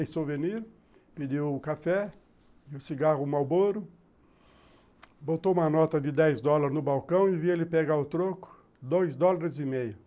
Em souvenir, pediu o café e o cigarro Marlboro, botou uma nota de dez dólares no balcão e vi ele pegar o troco, dois dólares e meio.